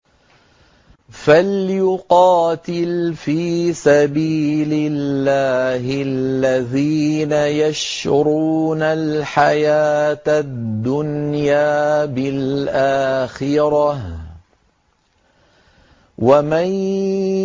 ۞ فَلْيُقَاتِلْ فِي سَبِيلِ اللَّهِ الَّذِينَ يَشْرُونَ الْحَيَاةَ الدُّنْيَا بِالْآخِرَةِ ۚ وَمَن